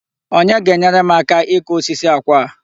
Onye ga-enyere m aka ikụ osisi àkwà a?